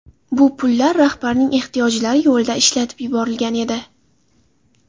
Bu pullar rahbarning ehtiyojlari yo‘lida ishlatib yuborilgan edi.